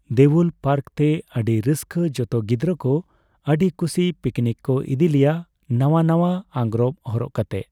ᱫᱮᱣᱩᱞ park ᱛᱮ᱾ ᱟᱹᱰᱤ ᱨᱟᱹᱥᱠᱟᱹ ᱡᱚᱛᱚ ᱜᱤᱫᱽᱨᱟᱹ ᱠᱚ ᱟᱹᱰᱤ ᱠᱩᱥᱤ ᱯᱤᱠᱱᱤᱠ ᱠᱚ ᱤᱫᱤᱞᱮᱭᱟ, ᱱᱟᱣᱟ ᱱᱟᱣᱟ ᱟᱝᱨᱚᱵ ᱦᱚᱨᱚᱜ ᱠᱟᱛᱮᱫ